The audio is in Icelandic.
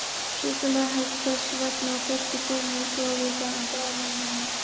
Súkkulaði helst þess vegna á föstu formi við stofuhita, en bráðnar í munni.